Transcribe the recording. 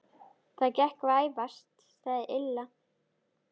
Það gekk vægast sagt illa.